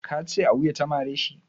Ka ce a wuya ta mare shi?